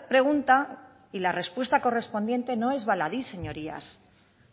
pregunta y la respuesta correspondiente no es baladí señorías